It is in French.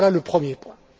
Voilà le premier point.